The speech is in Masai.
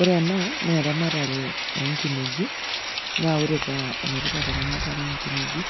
Ore ena naa eramatare onkineji , naa ore maana eramatare onkineji